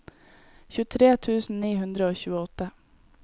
tjuetre tusen ni hundre og tjueåtte